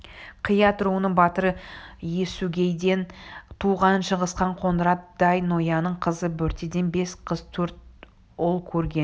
қият руының батыры есугейден туған шыңғысхан қоңырат дай-ноянның қызы бөртеден бес қыз төрт ұл көрген